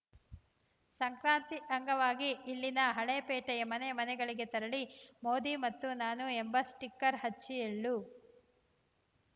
ಸಂಕ್ರಾಂತಿ ಅಂಗವಾಗಿ ಇಲ್ಲಿನ ಹಳೇಪೇಟೆಯ ಮನೆ ಮನೆಗಳಿಗೆ ತೆರಳಿ ಮೋದಿ ಮತ್ತು ನಾನು ಎಂಬ ಸ್ಟಿಕರ್‌ ಹಚ್ಚಿ ಎಳ್ಳು